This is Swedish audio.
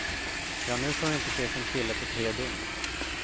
Ja, nu får hon inte se sin kille på tre dygn.